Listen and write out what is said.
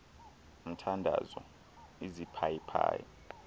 mthandazo iziphayi phayi